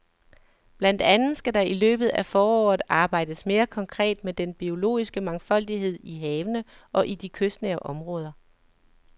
Blandt andet skal der i løbet af foråret arbejdes mere konkret med den biologiske mangfoldighed i havene og i de kystnære områder.